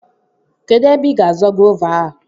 Kedụ ébé ị gá àzọ́ gova a?